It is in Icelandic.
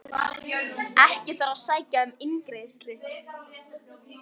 Ekki þarf að sækja um eingreiðslu